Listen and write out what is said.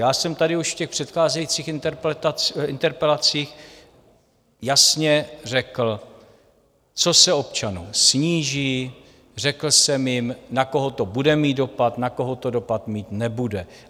Já jsem tady už v těch předcházejících interpelacích jasně řekl, co se občanům sníží, řekl jsem jim, na koho to bude mít dopad, na koho to dopad mít nebude.